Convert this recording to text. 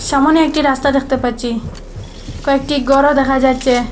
সামোনে একটি রাস্তা দেখতে পাচ্ছি কয়েকটি গরও দেখা যাচ্চে ।